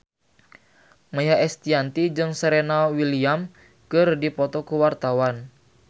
Maia Estianty jeung Serena Williams keur dipoto ku wartawan